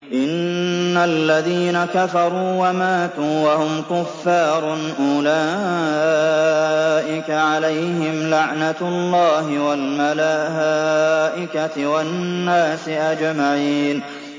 إِنَّ الَّذِينَ كَفَرُوا وَمَاتُوا وَهُمْ كُفَّارٌ أُولَٰئِكَ عَلَيْهِمْ لَعْنَةُ اللَّهِ وَالْمَلَائِكَةِ وَالنَّاسِ أَجْمَعِينَ